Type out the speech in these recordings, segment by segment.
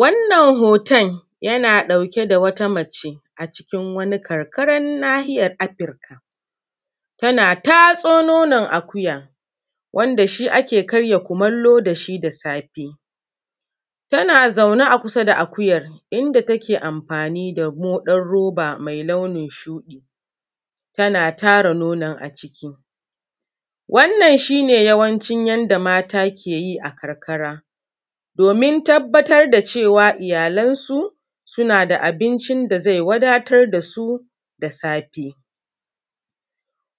Wannan hoton yana ɗauke da wata mace a cikin wani karkarar nahiyar afirk, tana tatso nonon akuya, wanda shi ake karin kumallo da shi da safe. Tana zaune kusa da akuyar, inda take amfani da moɗan roba mai launin shu:ɗi, tana tara nonon a ciki. Wannan shi ne yawanci yanda mata: ke yi a karkara, domin tabbatar da cewa iyalansu suna da abincin da zai wadatar da su da safe.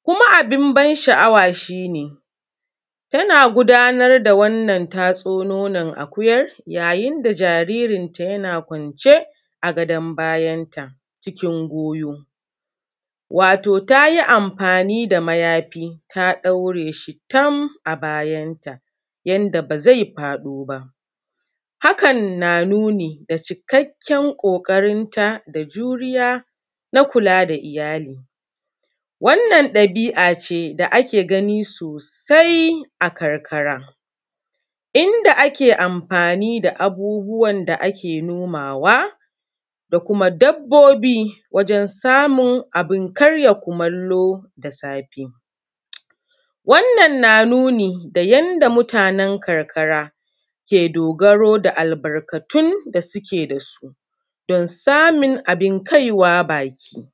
Kuma abin ban sha’awa shi ne, tana gudanar da wannan tatso nonan akuyar yayin da jaririnta yana kwance a gadon bayanta cikin goyo, wato ta yi amfani da mayafi ta ɗaure shi tam a bayanta yanda ba zai faɗo ba.. Hakan na nuni da cikakken ƙoƙarinta da juriya na kula da iyali. Wannan ɗabi’a ce da ake gani sosa a karkara, inda ake amfani da abubuwan da ake nomawa da kuma dabbobi wajen samun abin karin kumallo da safe.. wannan na nuni da yanda mutanen karkara ke dogaro da albarkatun da suke da su, don samun abin kaiwa baki.